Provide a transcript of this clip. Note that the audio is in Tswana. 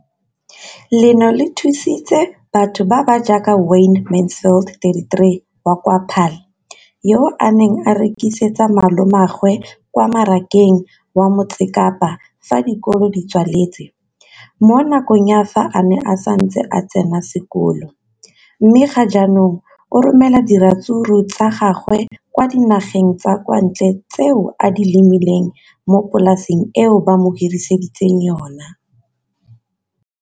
leno le thusitse batho ba ba jaaka Wayne Mansfield, 33, wa kwa Paarl, yo a neng a rekisetsa malomagwe kwa Marakeng wa Motsekapa fa dikolo di tswaletse, mo nakong ya fa a ne a santse a tsena sekolo, mme ga jaanong o romela diratsuru tsa gagwe kwa dinageng tsa kwa ntle tseo a di lemileng mo polaseng eo ba mo hiriseditseng yona.